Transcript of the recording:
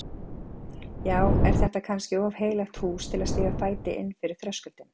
Já, er þetta kannski of heilagt hús til að stíga fæti inn fyrir þröskuldinn?